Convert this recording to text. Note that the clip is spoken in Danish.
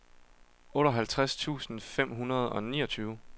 otteoghalvtreds tusind fem hundrede og niogtyve